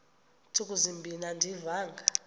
ntsuku zimbin andiyivanga